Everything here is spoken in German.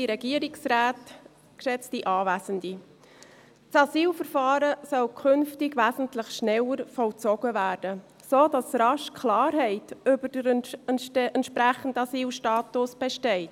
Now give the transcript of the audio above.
Das Asylverfahren soll künftig wesentlich schneller vollzogen werden, sodass rasch Klarheit über den entsprechenden Asylstatus besteht.